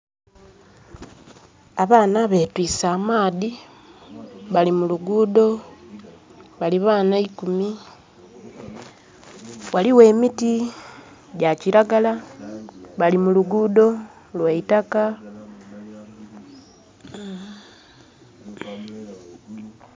Abaana betwiise amaadhi, bali muluguudo. Bali baana ikumi. Ghaligho emiti gya kiragala. Bali muluguudo lwaitaka.